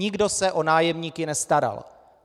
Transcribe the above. Nikdo se o nájemníky nestaral.